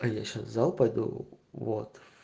а я сейчас в зал пойду вот